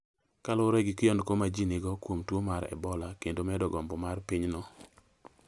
kaluwore gi kiondko ma ji nigo kuom tuo mar Ebola kendo medo gombo mar pinyno